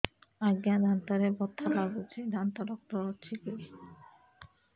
ଆଜ୍ଞା ଦାନ୍ତରେ ବଥା ଲାଗୁଚି ଦାନ୍ତ ଡାକ୍ତର ଅଛି କି